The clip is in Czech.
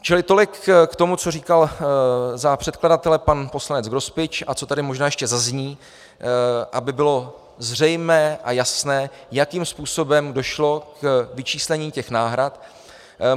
Čili tolik k tomu, co říkal za předkladatele pan poslanec Grospič a co tady možná ještě zazní, aby bylo zřejmé a jasné, jakým způsobem došlo k vyčíslení těch náhrad.